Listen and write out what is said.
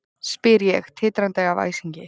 spyr ég, titrandi af æsingi.